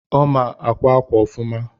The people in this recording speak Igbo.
ọ ma akwa akwa ofuma